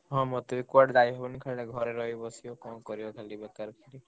ହାଁ ମତେ ବି କୁଆଡେ ଯାଇହବନି ଖାଲି ଘରେ ରହି ବସିବ କଣ କରିବ ବେକାରେ ଖାଲି।